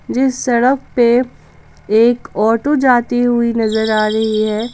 जिस सड़क पे एक ऑटो जाती हुई नजर आ रही है।